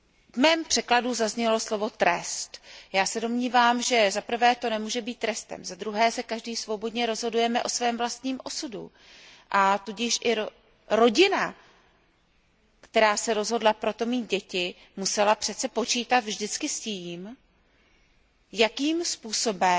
V mém tlumočení zaznělo slovo trest. Já se domnívám, že zaprvé to nemůže být trestem, zadruhé se každý svobodně rozhodujeme o svém vlastním osudu, a tudíž i rodina, která se rozhodla pro to mít děti, musela přece počítat vždycky s tím, jakým způsobem